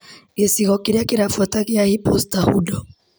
Gĩcigo kĩrĩa kĩrabuata gĩa hipusta hudo.